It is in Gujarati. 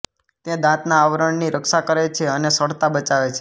તે દાંતના આવરણની રક્ષા કરે છે અને સડતા બચાવે છે